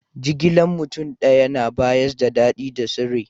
Jigilan mutum daya na bayars da dadi da sirri.